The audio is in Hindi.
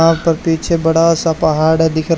और तो पीछे बड़ा सा पहाड़ है दिख--